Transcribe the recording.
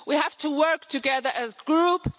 We have to work together as groups.